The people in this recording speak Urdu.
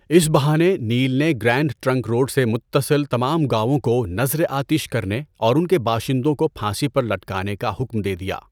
اس بہانے، نیل نے گرینڈ ٹرنک روڈ سے متصل تمام گاوؤں کو نذر آتش کرنے اور ان کے باشندوں کو پھانسی پر لٹکانے کا حکم دے دیا۔